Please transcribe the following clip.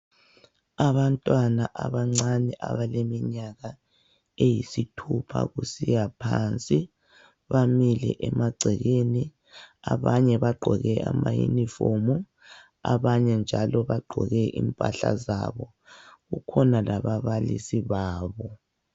Abantwana abancane abaleminyaka eyisithupha kusiya phansi bamile emagcekeni abanye bagqoke ama uniform abanye njalo bagqoke impahla zabo, kukhona laba balisi babo